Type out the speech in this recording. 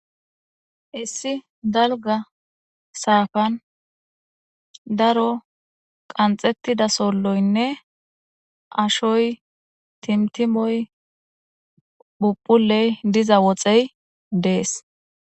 Issi dalga saafan daro qanxettida solloynne ashoy timtimoy phupuley diza woxey dees.